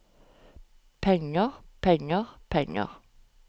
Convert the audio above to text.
penger penger penger